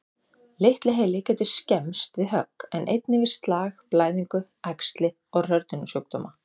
Litli heili getur skemmst við högg, en einnig við slag, blæðingu, æxli og hrörnunarsjúkdóma.